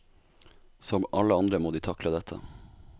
Som alle andre må de takle dette.